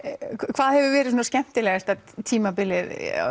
hvað hefur verið svona skemmtilegasta tímabilið